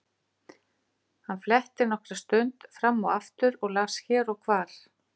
Hann fletti nokkra stund fram og aftur og las hér og hvar.